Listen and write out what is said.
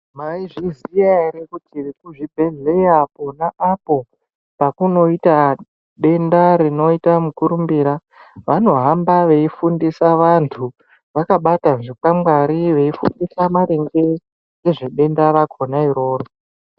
Maizviziya ere kuti vekuzvibhedhleya pona apo pakunoita denda rinoita mukurumbira vanohamba veifundisa vanthu vakabata zvikwangwari veifundisa vanthu vakabata zvikwangwari veifundisa maringe ngezvedenda rakona iroro.